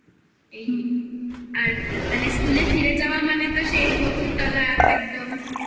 এই আর মানে স্কুলে ফিরে যাওয়া মানে তো সেই বকুলতলা একদম